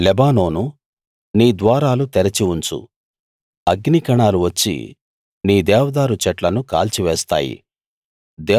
లెబానోనూ నీ ద్వారాలు తెరిచి ఉంచు అగ్నికణాలు వచ్చి నీ దేవదారు చెట్లను కాల్చివేస్తాయి